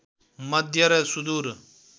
मध्य र सुदूर